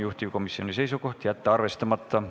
Juhtivkomisjoni seisukoht on jätta see arvestamata.